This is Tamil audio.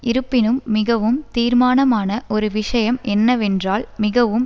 இருப்பினும் மிகவும் தீர்மானமான ஒரு விஷயம் என்னவென்றால் மிகவும்